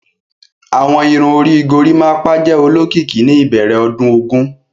Awọn irun ori Gorimapa jẹ olokiki ni ibẹrẹ ọdun ogun.